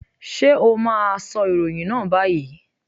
Sé o má a sọ ìròyìn náà báyìí?